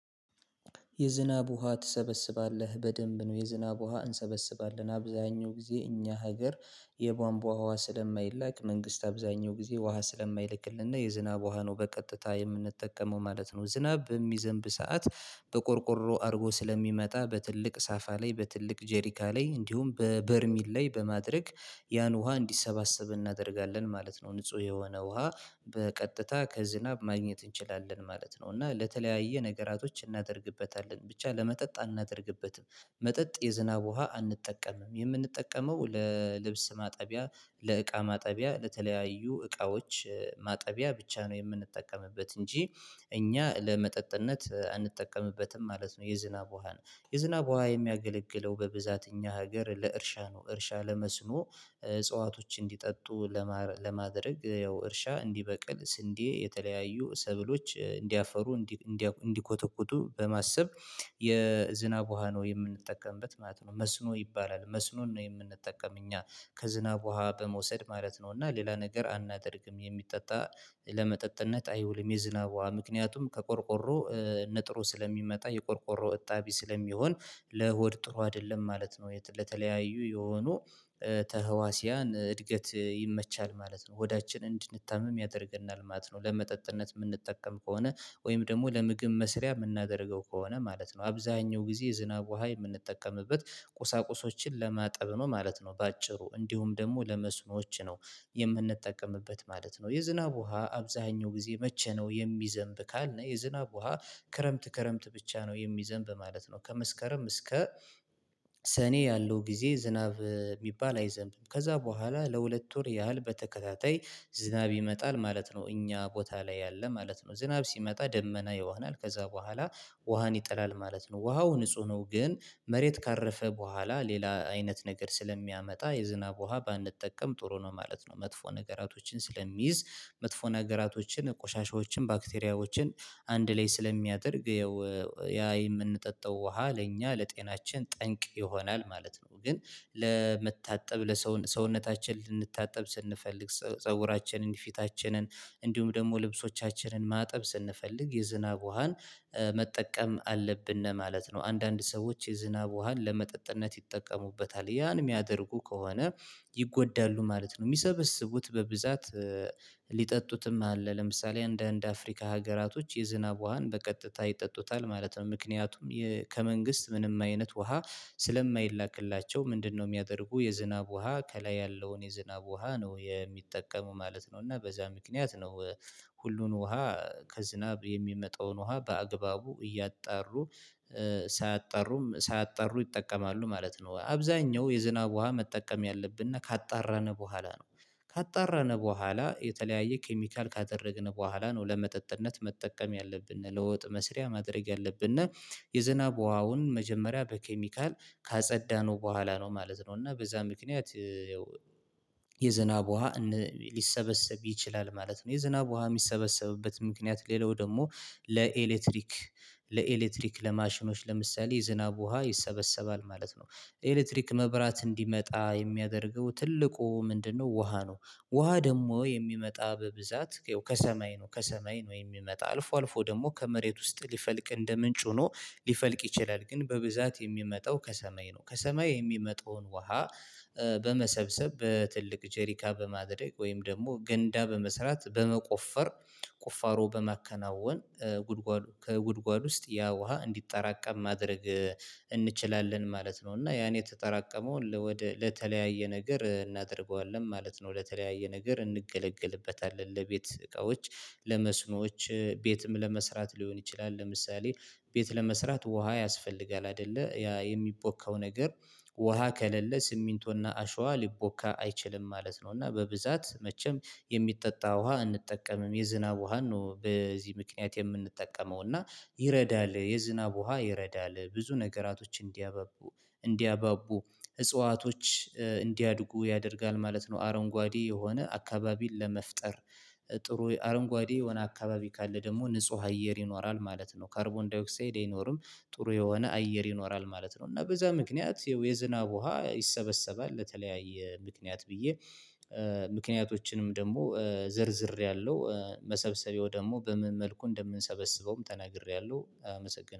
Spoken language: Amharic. የዝናብ ውሃ ትሰበስባለህ? በደንብ ነው የዝናብ ውሃ እንሰበስባለን። አብዛኛው ጊዜ እኛ ሀገር የቧንቧ ውሃ ስለማይላክ መንግስት አብዛኛው ጊዜ ውሃ ስለማይልክልን የዝናብ ውሃ ነው በቀጥታ የምንጠቀመው ማለት ነው። ዝናብ በሚዘንብ ሰዓት በቆርቆሮ አድርጎ ስለሚመጣ በትልቅ ሳፋ ላይ በትልቅ ጀሪካ ላይ እንዲሁም በበርሜል ላይ በማድረግ ያን ውሃ እንዲሰባሰብ እናደርጋለን ማለት ነው። ንጹህ የሆነ ውሃ በቀጥታ ከዝናብ ማግኘት እንችላለን ማለት ነው እና ለተለያየ ነገራቶች እናደርግበታለን። ብቻ ለመጠጥ አናደርግበትም። መጠጥ የዝናብ ውሃ አንጠቀምም። የምንጠቀመው ለልብስ ማጠቢያ፤ ለእቃ ማጠቢያ፤ ለተለያዩ እቃዎች ማጠቢያ ብቻ ነው የምንጠቀምበት እንጂ እኛ ለመጠጥነት አንጠቀምበትም ማለት ነው የዝናብ ውሃን። የዝናብ ውሃ የሚያገለግለው በብዛት እኛ ሀገር ለእርሻ ነው። እርሻ ለመስኖ እጽዋቶች እንዲጠጡ ለማድረግ ያው እርሻ እንዲበቅል ስንዴ የተለያዩ ሰብሎች እንዲያፈሩ እንዲኮተኩቱ በማሰብ የዝናብ ውሃ ነው የምንጠቀምበት ማለት ነው። መስኖ ይባላል። መስኖን ነው የምንጠቀም እኛ ከዝናብ ውሃ በመውሰድ ማለት ነው እና ሌላ ነገር አናደርግም የሚጠጣ ለመጠጥነት አይውልም የዝናብ ውሃ። ምከንያቱም ከቆርቆሮ ነጥሮ ስለሚመጣ የቆርቆሮ እጣቢ ስለሚሆን ለሆድ ጥሩ አይደለም ማለት ነው። ለተለያዩ የሆኑ ተዋህሲያን እድገት ይመቻል ማለት ነው። ሆዳችን እንድንታምም ያደርገናል ማት ነው። ለመጠጥነት የምንጠቀም ከሆነ ወይም ደግሞ ለምግብ መስሪያ የምናደርገው ከሆነ ማለት ነውተ አብዛኛው ጊዜ የዝናብ ውሃ የምንጠቀምበት ቁሳቁሶችን ለማጠብ ነው ማለት ነው በአጭሩ። እንዲሁም ደግሞ ለመስኖዎች ነው። የምንጠቀምበት ማለት ነው። የዝናብ ውሃ አብዛኛው ጊዜ መቼ ነው የሚዘንብ ካልነ የዝናብ ውሃ ክረምት ክረምት ብቻ ነው የሚዘንብ ማለት ነው። ከመስከረም እስከ ሰኔ ያለው ጊዜ ዝናብ የሚባል አይዘንብም። ከዛ በኋላ ለሁለት ወር ያህል በተከታታይ ዝናብ ይመጣል ማለት ነው እኛ ቦታ ላይ ያለ ማለት ነው። ዝናብ ሲመጣ ደመና ይሆናል ከዛ በኋላ ውሃን ይጥላል ማለት ነው። ውሃው ንጹህ ነው ግን መሬት ካረፈ በኋላ ሌላ አይነት ነገር ስለሚያመጣ የዝናብ ውሃ ባንጠቀም ጥሩ ነው ማለት ነው። መጥፎ ነገራቶችን ስለሚይዝ መጥፎ ነገራቶችን፣ ቆሻሻዎችን፣ ባክቴሪያዎችን አንድ ላይ ስለሚያደርግ ያው ያ የምንጠጣው ውሃ ለእኛ ለጤናችን ጠንቅ ይሆናል ማለት ነው። ግን ለመታጠብ ለሰው ሰውነታችን ልንታጠብ ስንፈልግ፤ ፀጉራችንን፣ ፊታችንን፣ እንዲሁም ደግሞ ልብሶቻችንን ማጠብ ስንፈልግ የዝናብ ውሃን መጠቀም አለብን ማለት ነው። አንዳንድ ሰዎች የዝናብ ውሃን ለመጠጥነት ይጠቀሙበታል ያን የሚያደርጉ ከሆነ ይጎዳሉ ማለት ነው። የሚሰበስቡት በብዛት ሊጠጡትም አለ። ለምሳሌ እንዳንድ አፍሪካ ሀገራቶች የዝናብ ውሃን በቀጥታ ይጠጡታል ማለት ነው። ምክንያቱም ከመንግስት ምንም አይነት ውሃ ስለማይላክላቸው ምንድነው የሚያደርጉ የዝናብ ውሃ ከላይ ያለውን የዝናብ ውሃ ነው የሚጠቀሙ ማለት ነው እና በዛ ምክንያት ነው ሁሉን ውሃ ከዝናብ የሚመጣውን ውሃ በአግባቡ እያጣሩ ሳያጣሩም ሳያጣሩ ይጠቀማሉ ማለት ነው። አብዛኛው የዝናብ ውሃ መጠቀም ያለብን ካጣራን በኋላ ነው። ካጣራን በኋላ የተለያየ ኬሚካል ካደረግን በኋላ ነው ለመጠጥነት መጠቀም ያለብን፤ ለውጥ መስሪያ ማድረግ ያለብን እና የዝናብ ውሃውን መጀመሪያ በኬሚካል ካጸዳነው በኋላ ነው ማለት ነው እና በዛ ምክንያት የዝናብ ውሃ ሊሰበሰብ ይችላል ማለት ነውደ የዝናብ ውሃ የሚሰበሰብበት ምክንያት ሌላው ደግሞ ለኤሌክትሪክ ለኤሌክትሪክ ለማሽኖች ለምሳሌ የዝናብ ውሃ ይሰበሰባል ማለት ነው። ኤሌክትሪክ መብራት እንዲመጣ የሚያደርገው ትልቁ ምንድነው ውሃ ነው። ውሃ ደግሞ የሚመጣ በብዛት ከሰማይ ነው ከሰማይ ነው የሚመጣ አልፎ አልፎ ደግሞ ከመሬት ውስጥ ሊፈልቅ እንደ ምንጭ ሆኖ ሊፈልቅ ይችላል ግን በብዛት የሚመጣው ከሰማይ ነው ከሰማይ የሚመጣውን ውሃ በመሰብሰብ በትልቅ ጄሪካ በማድረግ ወይም ደግሞ ገንዳ በመስራት በመቆፈር ቁፋሮ በማከናወን ጉድጓድ ከጉድጓድ ውስጥ ያ ውሃ እንዲጠራቀም ማድረግ እንችላለን ማለት ነው እና ያን የተጠራቀመውን ለተለያየ ነገር እናደርገዋለን ማለት ነው። ለተለያየ ነገር እንገለገልበታለን። ለቤት እቃዎች ለመስኖዎች ቤትም ለመስራት ሊሆን ይችላል ለምሳሌ ቤት ለመስራት ውሃ ያስፈልጋል አይደለ የሚቦካው ነገር ውሃ ከሌለ ስሚንቶና አሸዋ ሊቦካ አይችልም ማለት ነው እና በብዛት መቼም የሚጠጣ ውሃ አንጠቀምም የዝናብ ውሃን ነው በዚህ ምክንያት የምንጠቀመው እና ይረዳል የዝናብ ውሃ ይረዳል ብዙ ነገራቶች እንዲያበቡ እንዲያባቡ እጽዋቶች እንዲያድጉ ያደርጋል ማለት ነው አረንጓዴ የሆነ አካባቢን ለመፍጠር ጥሩ አረንጓዴ የሆነ አካባቢ ካለ ደግሞ ንጹህ አየር ይኖራል ማለት ነው። ካርቦን ዳይኦክሳይድ አይኖርም ጥሩ የሆነ አየር ይኖራል ማለት ነው እና በዛ ምክንያት የዝናብ ውሃ ይሰበሰባል ለተለያየ ምክንያት ብዬ ምክንያቶችንም ደግሞ ዘርዝሬያለሁ መሰብሰቢያው ደግሞ በምን መልኩ እንደምንሰበስበውም ተናግሬያለሁ አመሰግናለሁ።